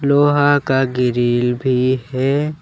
लोहा का गिरिल भी है।